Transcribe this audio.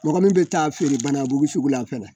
Mɔgɔ min bɛ taa feere banabugu sugu la fɛnɛ